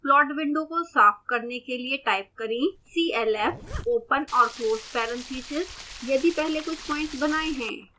plot window को साफ करने के लिए टाइप करें clf open और close parentheses यदि पहले कुछ प्लॉट्स बनाए हैं